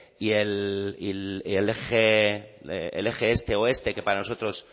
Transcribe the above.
y el eje este oeste que para nosotros